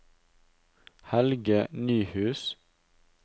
Helge Nyhus